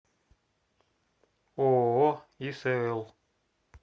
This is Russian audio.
ооо исл